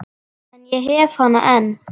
En ég hef hana enn.